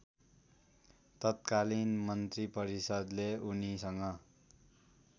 तत्कलिन मन्त्रिपरिषदले उनीसँग